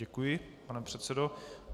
Děkuji, pane předsedo.